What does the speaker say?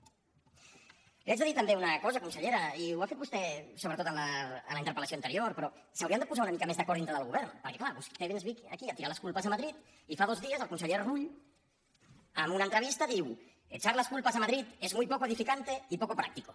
li haig de dir també una cosa consellera i ho ha fet vostè sobretot en la interpel·lació anterior però s’haurien de posar una mica més d’acord dintre del govern perquè clar vostè ens ve aquí a tirar les culpes a madrid i fa dos dies el conseller rull en una entrevista diu echar las culpas a madrid es muy poco edificante y poco práctico